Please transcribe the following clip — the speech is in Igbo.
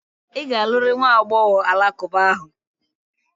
Ị ga-alụrịrị nwa agbọghọ alakụba ahụ!